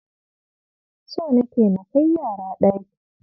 So nake na kai yara ɗaki.